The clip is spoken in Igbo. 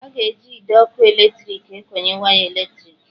A na-eji ide ọkụ eletriki ekonye waya eletriki